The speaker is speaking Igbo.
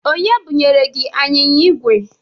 Onye bụnyere gị anyịnya ig we?